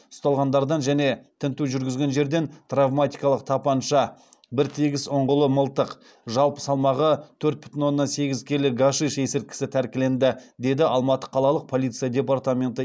ұсталғандардан және тінту жүргізген жерден травматикалық тапанша бір тегіс ұңғылы мылтық жалпы салмағы төрт бүтін оннан сегіз келі гашиш есірткісі тәркіленді деді алматы қалалық полиция департаменті